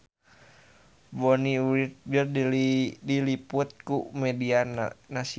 Bonnie Wright diliput ku media nasional